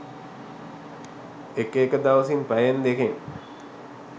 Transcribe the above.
ඒක එක දවසින් පැයෙන් දෙකෙන්